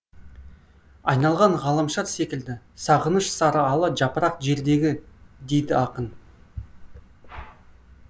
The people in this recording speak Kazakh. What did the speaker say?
айналған ғаламшар секілді сағыныш сарыала жапырақ жердегі дейді ақын